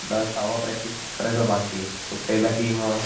आता सहावा प्रॅक्टिस करायचा बाकी केला कि मग